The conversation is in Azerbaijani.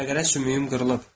Fəqərə sümüyüm qırılıb.